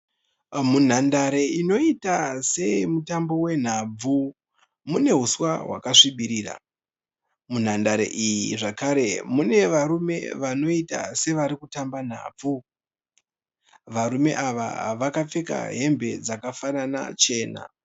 Munhadare inoita yesemutambo wenhabvu, mune huswa hwakasvibirira. Munhandare iyi zvekare mune varume vanoita sevarikutamba nhabvu. Varume ava vakapfeka hembe dzakafanana chena.